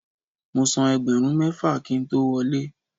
Mo san ẹgbẹ̀rún mẹ́fà kí n tó wọlé.